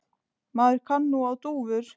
Maður kann nú á dúfur!